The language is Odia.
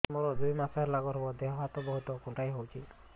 ମୋର ଦୁଇ ମାସ ହେଲା ଗର୍ଭ ଦେହ ହାତ ବହୁତ କୁଣ୍ଡାଇ ହଉଚି